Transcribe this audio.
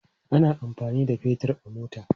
Ana amfani da fetir a mota.